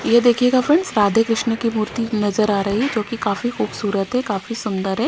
ये देखिएगा फ्रेंड्स राधे कृष्ण की मूर्ति नजर आ रही है जो कि काफी खूबसूरत है काफी सुंदर है।